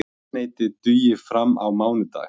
Eldsneytið dugi fram á mánudag